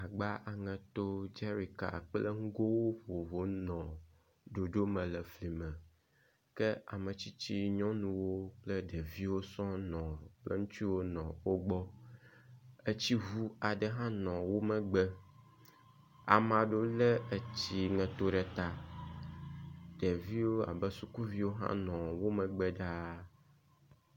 Agba aŋeto dzeɖika kple nugowo vovovowo nɔ ɖoɖo me le fli me ke ame tsitsi nyɔnuwo kple ɖeviwo sɔ nɔ kple ŋutuwo nɔ wo gbɔ. Etsiŋu aɖewo hã nɔ wo megbe. Ame aɖewo le etsiŋeto ɖe ta. Ɖeviwo abe sukuviwo hã nɔ wo megbe dzaa.